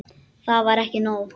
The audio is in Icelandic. Það er ekki nóg.